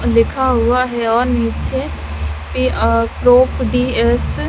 लिखा हुआ है और नीचे अ पे अ क्लॉक डी एस --